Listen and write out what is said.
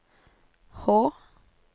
H